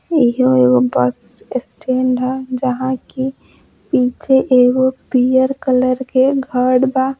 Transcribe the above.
इहो एगो bus stand ह जहाँ कि पीछे एगो पियर कलर के घड़ बा।